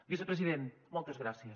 vicepresident moltes gràcies